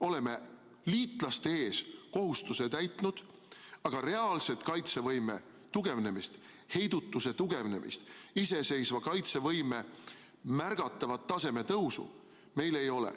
Oleme liitlaste ees kohustuse täitnud, aga reaalset kaitsevõime tugevnemist, heidutuse tugevnemist, iseseisva kaitsevõime taseme märgatavat tõusu meil ei ole.